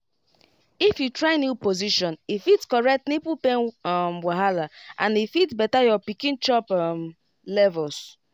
if you try new position e fit correct nipple pain um wahala and e fit better your pikin chop um levels